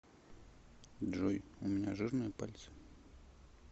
джой у меня жирные пальцы